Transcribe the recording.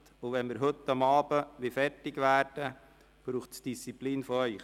Wenn wir heute Abend fertig werden wollen, braucht es Disziplin Ihrerseits.